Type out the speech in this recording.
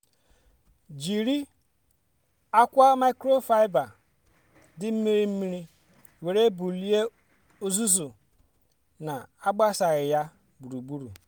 jiri akwa microfiber dị mmiri mmiri were bulie uzuzu na-agbasaghị ya gburugburu.